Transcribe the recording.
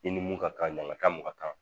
I ni mun ka kan ɲɛnama ka mun ka kan